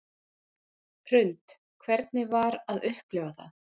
Hrund: Hvernig var að upplifa það?